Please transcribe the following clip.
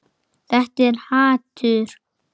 Þetta er hatur.